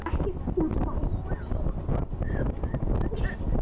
Hún var döpur.